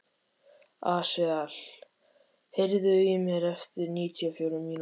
Asael, heyrðu í mér eftir níutíu og fjórar mínútur.